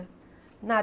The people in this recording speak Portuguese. Nada.